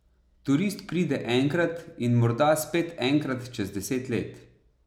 Turist pride enkrat in morda spet enkrat čez deset let.